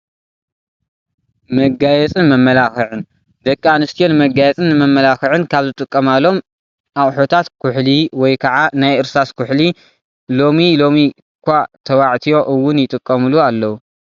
መጋየፅ መመላኽዕን፡- ደቂ ኣንስትዮ ንመጋየፅን ንመመላኽዕን ካብ ዝጥቀማሎም ኣቑሑታት ኩሕሊ ወይ ከዓ ናይ እርሳስ ኩሕሊ እዩ፡፡ ሎሚ ሎሚ እኳ ተባትዮ ውን ይጥቀምሉ ኣለው፡፡